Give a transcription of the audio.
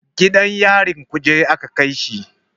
Gidan yarin kuje aka kaishi.